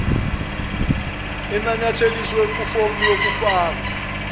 enanyatheliswe kufomu yokufaka